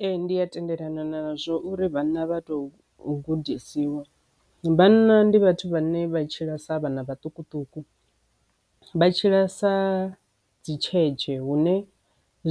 Ee, ndi a tendelana nazwo uri vhana vha to gudisiwa. Vhanna ndi vhathu vhane vha tshila sa vhana vhaṱukuṱuku vha tshila sa dzi lutshetshe hune